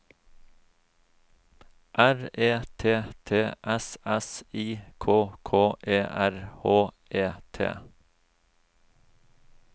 R E T T S S I K K E R H E T